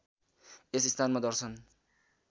यस स्थानमा दर्शन